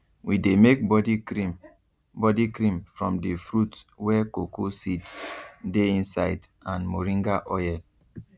we dey make body cream body cream from the fruit wey cocoa seed dey inside and moringa oil